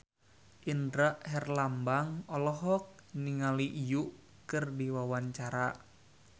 Indra Herlambang olohok ningali Yui keur diwawancara